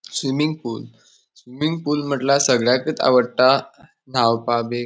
Swimming pool swimming pool म्हटल्या सगळ्याकत आवडटा न्हावपाक बी.